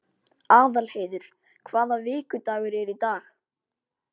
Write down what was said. Aðalheiður, hvaða vikudagur er í dag?